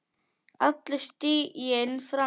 Allur stiginn fram undan.